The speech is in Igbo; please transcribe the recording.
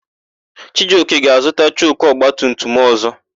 Chijioka ga-azụta choku ọgbatumtum ọ̀zọ́.